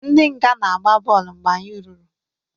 Ndi nga na-agba bọọlụ mgbe anyị ruru